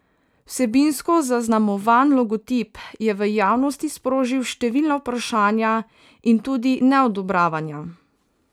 Vsebinsko zaznamovan logotip je v javnosti sprožil številna vprašanja in tudi neodobravanja.